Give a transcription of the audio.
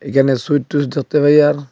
এখানে sweet twist দেখতে পাই আর--